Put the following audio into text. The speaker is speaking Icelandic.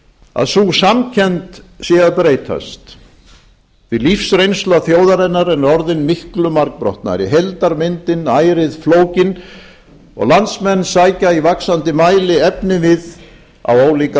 að sú samkennd sé að breytast því lífsreynsla þjóðarinnar er orðin miklu margbrotnari heildarmyndin ærið flókin og landsmenn sækja í vaxandi mæli efnivið á ólíkar